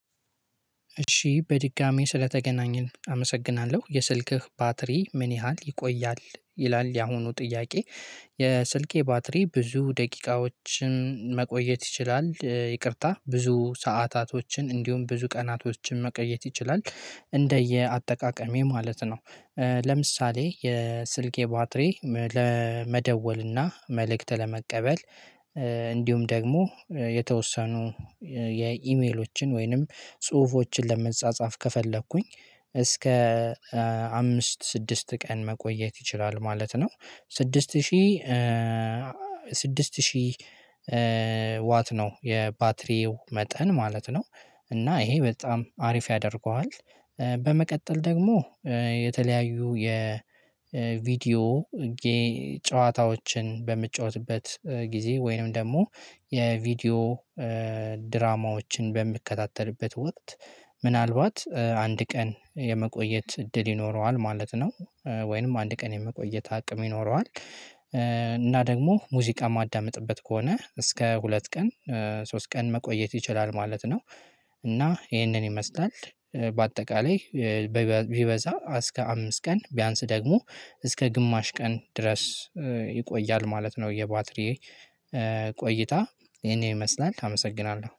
እሺ በድጋሚ ስለተገናኘን አመሰግናለሁ የስልክህ ባትሪ ምን ያህል ይቆያል ይላል የአሁኑ ጥያቄ? የስልኬ ባትሪ ብዙ ደቂቃዎችን መቆየት ይችላል ይቅርታ ብዙ ሰዓታቶችን እንዲሁም ብዙ ቀናቶችን መቀየር ይችላል። እንደየ አጠቃቀሜ ማለት ነው። ለምሳሌ የስልኬ ባትሪ ለመደወልና መልእክት ለመቀበል። እንዲሁም ደግሞ የተወሰኑ የኢሜሎችን ወይንም ጽሁፎችን ለመጻጻፍ ከፈለኩኝ እስከ አምስት ስድስት ቀን መቆየት ይችላል ማለት ነው። ስድስት ሺህ ስድስት ሺህ ዋት ነው የባትሪው መጠን ማለት ነው። እና ይሄ በጣም አሪፍ ያደርገዋል። በመቀጠል ደግሞ የተለያዩ የቪዲዮ ጨዋታዎችን በምጫወትበት ጊዜ ወይንም ደግሞ የቪዲዮ ድራማዎችን በሚከታተልበት ወቅት ምናልባት አንድ ቀን የመቆየት እድል ይኖረዋል ማለት ነው። ወይንም አንድ ቀን የመቆየት አቅም ይኖረዋል። እና ደግሞ ሙዚቃ ማዳመጥበት ከሆነ እስከ ሁለት ቀን ሶስት ቀን መቆየት ይችላል ማለት ነው። እና ይሄንን ይመስላል። በአጠቃላይ ቢበዛ እስከ አምስት ቀን ቢያንስ ደግሞ እስከ ግማሽ ቀን ድረስ ይቆያል ማለት ነው። የባትሪዬ ቆይታ የኔ ይመስላል አመሰግናለሁ